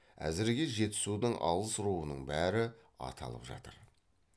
әзірге жетісудың алыс руының бәрі аталып жатыр